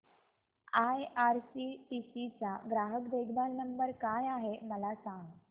IRCTC चा ग्राहक देखभाल नंबर काय आहे मला सांग